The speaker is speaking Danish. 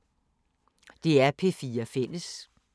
DR P4 Fælles